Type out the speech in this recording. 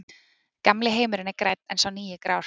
Gamli heimurinn er grænn en sá nýi grár.